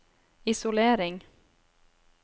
isolering